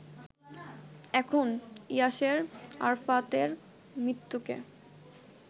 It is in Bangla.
এখন ইয়াসের আরাফাতের মৃত্যুকে